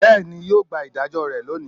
beni yio gba idajo re loni